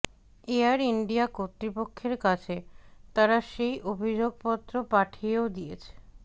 air India কর্তৃপক্ষের কাছে তারা সেই অভিযোগপত্র পাঠিয়েও দিয়েছে